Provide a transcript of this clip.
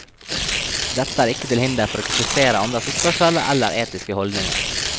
Dette er ikke til hinder for å kritisere andres oppførsel eller etiske holdninger.